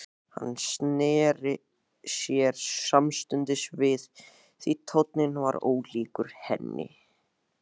Hann sneri sér samstundis við því tónninn var ólíkur henni.